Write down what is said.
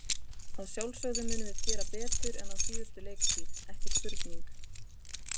Að sjálfsögðu munum við gera betur en á síðustu leiktíð, ekki spurning.